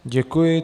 Děkuji.